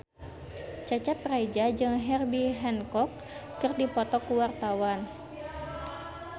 Cecep Reza jeung Herbie Hancock keur dipoto ku wartawan